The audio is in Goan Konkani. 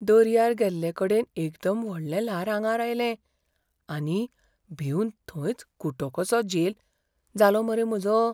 दर्यार गेल्लेकडेन एकदम व्हडलें ल्हार आंगार आयलें आनी भिवन थंयच खुटो कसो झेल जालो मरे म्हाजो.